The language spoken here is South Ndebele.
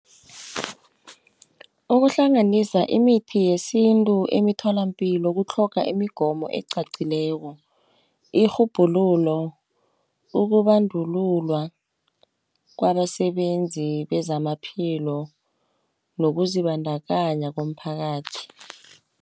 Ukuhlanganisa imithi yesintu emitholapilo kutlhoga imigomo ecacileko, irhubhululo, ukubandululwa kwabasebenzi bezamaphilo, nokuzibandakanya komphakathi.